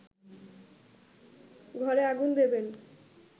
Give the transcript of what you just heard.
ঘরে আগুন দেবেন